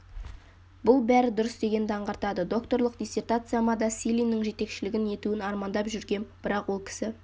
бұл бәрі дұрыс дегенді аңғартады докторлық диссертацияма да силиннің жетекшілігін етуін армандап жүргем бірақ ол кісі